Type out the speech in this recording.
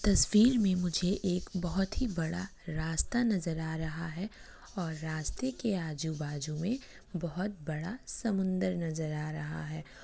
तस्वीर में मुझे एक बहुत ही बड़ा रास्ता नज़र आ रहा है और रास्ते के आजुबाजु में बहुत बड़ा समुन्दर नज़र आ रहा है।